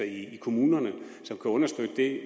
i kommunerne som kan understøtte det